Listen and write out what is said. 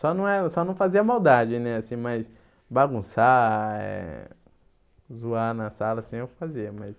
Só não era, só não fazia maldade, né, assim, mas bagunçar, eh zoar na sala, assim, eu fazia, mas...